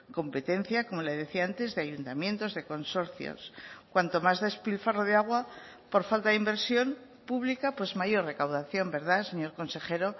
competencia como le decía antes de ayuntamientos de consorcios cuanto más despilfarro de agua por falta de inversión pública pues mayor recaudación verdad señor consejero